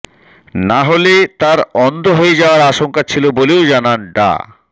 না হলে তার অন্ধ হয়ে যাওয়ার আশঙ্কা ছিল বলেও জানান ডা